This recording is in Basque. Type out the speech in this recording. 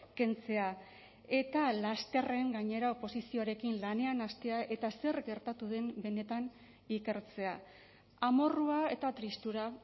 kentzea eta lasterren gainera oposizioarekin lanean hastea eta zer gertatu den benetan ikertzea amorrua eta tristura